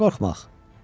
Nə qorxmaq?